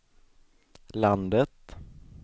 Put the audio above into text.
landet